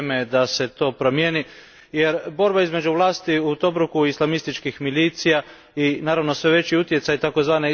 Vrijeme je da se to promijeni jer borba između vlasti u Tobruku i islamističkih milicija, i naravno sve veći utjecaj tzv.